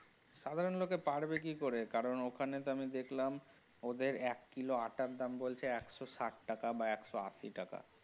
সাধারণ লোকে পারবে কি করে কারণ ওখানে তো আমি দেখলাম ওদের এক কিলো আটটার দাম বলছে একশো ষাট টাকা বা একশো আশি টাকা।